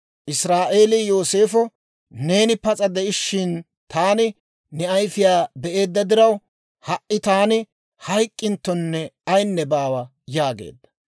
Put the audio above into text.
Israa'eelii Yooseefo, «Neeni pas'a de'ishshin, taani ne ayfiyaa be'eedda diraw, ha"i taani hayk'k'inttonne ayinne baawa» yaageedda.